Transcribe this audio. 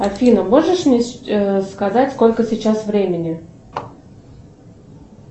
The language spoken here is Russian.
афина можешь мне сказать сколько сейчас времени